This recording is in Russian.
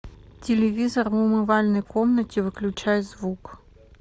телевизор в умывальной комнате выключай звук